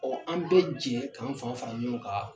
an bɛ cɛ k'an fanga fara ɲɔgɔn kan